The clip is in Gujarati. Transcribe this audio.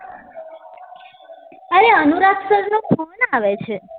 આવે છે